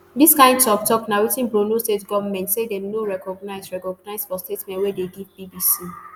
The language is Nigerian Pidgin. dis kain toktok na wetin borno state goment say dem no recognise recognise for statement wey dem give bbc